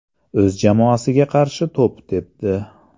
O‘z jamoasiga qarshi to‘p tepdi.